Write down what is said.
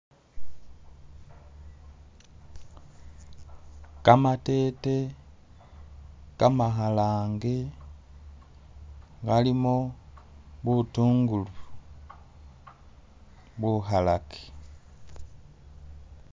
Kamatete kamakhalange kalimo butungulu bukhalake